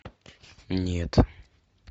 нет